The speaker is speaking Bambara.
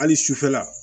Hali sufɛla